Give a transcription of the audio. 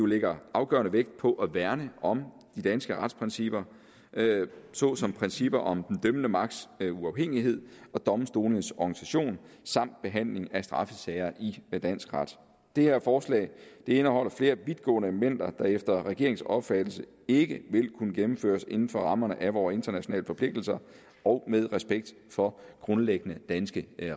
lægger afgørende vægt på at værne om de danske retsprincipper såsom princippet om den dømmende magts uafhængighed og domstolenes organisation samt behandling af straffesager i dansk ret det her forslag indeholder flere vidtgående elementer der efter regeringens opfattelse ikke vil kunne gennemføres inden for rammerne af vores internationale forpligtelser og med respekt for grundlæggende danske